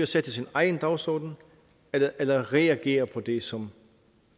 sætte sin egen dagsorden eller eller reagere på det som